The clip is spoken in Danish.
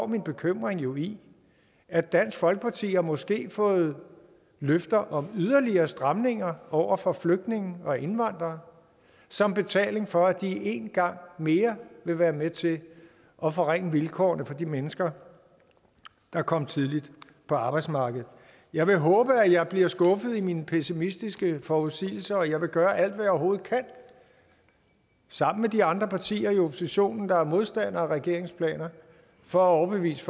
min bekymring jo i at dansk folkeparti måske har fået løfter om yderligere stramninger over for flygtninge og indvandrere som betaling for at de en gang mere vil være med til at forringe vilkårene for de mennesker der kom tidligt på arbejdsmarkedet jeg vil håbe at jeg bliver skuffet i mine pessimistiske forudsigelser og jeg vil gøre alt hvad jeg overhovedet kan sammen med de andre partier i oppositionen der er modstandere af regeringens planer for at overbevise